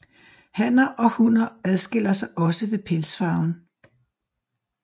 Hanner og hunner adskiller sig også ved pelsfarven